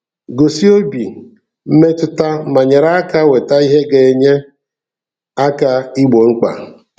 Gosi obi mmetụta ma nyere aka weta ihe ga-enye aka igbo mkpa!